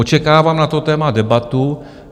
Očekávám na to téma debatu.